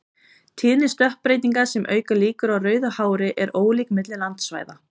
Tíðni stökkbreytinga sem auka líkur á rauðu hári er ólík milli landsvæða.